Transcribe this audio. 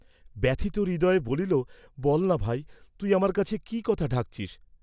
ব্যথিত হৃদয়ে বলিল বলনা ভাই, তুই আমার কাছে কি কথা ঢাক্‌ছিস?